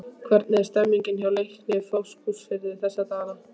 Hvernig er stemningin hjá Leikni Fáskrúðsfirði þessa dagana?